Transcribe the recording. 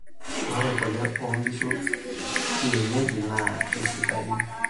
Ore kule oonkishu kienyeji naa keisidain.